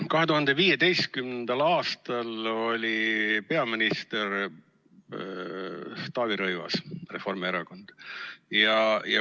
2015. aastal oli peaminister Taavi Rõivas Reformierakonnast.